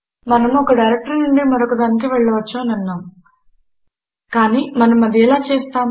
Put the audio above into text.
మనము ఒక డైరెక్టరీ నుండి మరొక దానికి వెళ్ళవచ్చు తెలిపినాము కానీ మనం అది ఎలా చేస్తాము